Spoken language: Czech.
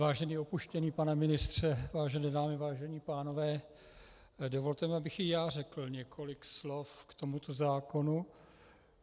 Vážený opuštěný pane ministře , vážené dámy, vážení pánové, dovolte mi, abych i já řekl několik slov k tomuto zákonu.